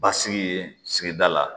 Basigi yen sigida la